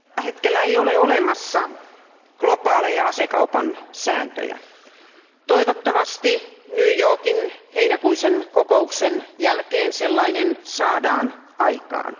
Arvoisa puhemies, tällä hetkellä ei ole olemassa globaaleja asekaupan sääntöjä. Toivottavasti New Yorkin heinäkuisen kokouksen jälkeen sellaiset saadaan aikaan.